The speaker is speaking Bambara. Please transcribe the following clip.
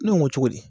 Ne ko ŋo cogo di